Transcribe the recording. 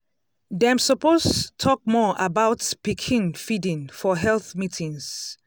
um dem suppose talk more about pikin feeding for health meetings.